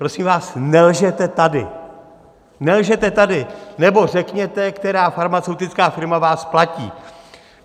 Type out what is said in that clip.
Prosím vás, nelžete tady, nelžete tady, nebo řekněte, která farmaceutická firma vás platí.